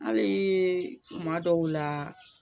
Hali kuma dɔw la